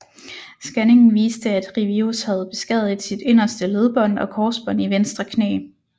Scanningen viste at Riveros havde beskadiget sit inderste ledbånd og korsbånd i venstre knæ